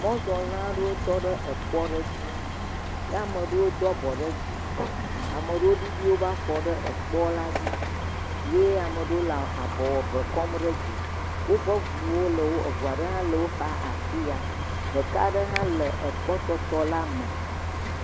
Mɔzɔla aɖewo tɔ ɖe ekpɔm aɖe dzi ye ame aɖewo do abɔ ɖe dzi. Ame aɖewo ɖiɖi woƒe afɔwo ɖe ekpoa dzi eye eɖewo le wòƒe abɔ kpɔm ɖe dzi. Woƒe ʋuwo. Eʋu aɖewo hã le wò xa le afiya. Ɖeka aɖe hã le kpɔtɔ la me.